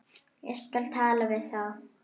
Ég skal tala við þá.